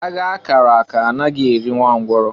Agha a kara aka anaghị erị nwa ngwụrọ.